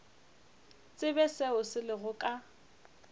tsebe seo se lego ka